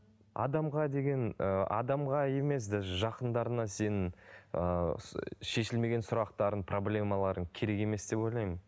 адамға деген ыыы адамға емес даже жақындарыңа сенің ыыы шешілмеген сұрақтарың проблемаларың керек емес деп ойлаймын